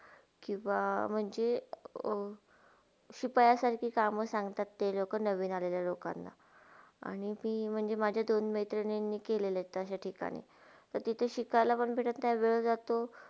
किवा म्हणजे अ सूपाया सारखी कामा सांगतात ते नवीन आल्याल्या लोकांना आणि मी माझे दोन मेत्रीनंनी केले आहेत त्या ठिकाणी, तर तिथे शिकायला काय नही वेळ जाया जातो.